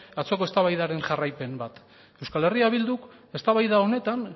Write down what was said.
atzoko eztabaidaren jarraipen bat euskal herria bilduk eztabaida honetan